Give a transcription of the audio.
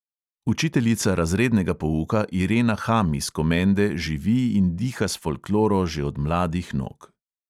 Učiteljica razrednega pouka irena ham iz komende živi in diha s folkloro že od mladih nog.